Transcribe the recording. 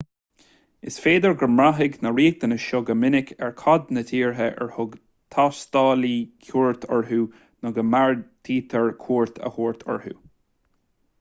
is féidir go mbraithfidh na riachtanais seo go minic ar cad na tíortha ar thug taistealaí cuairt orthu nó a mbeartaítear cuairt a thabhairt orthu